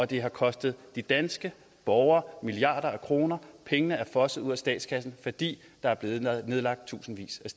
det har kostet de danske borgere milliarder af kroner pengene er fosset ud af statskassen fordi der er blevet nedlagt tusindvis